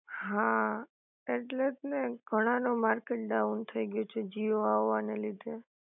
હા ઍટલે જ ને, ઘણા નો માર્કેટ ડાઉન થઈ ગયો છે જીઓ આવાને લીધે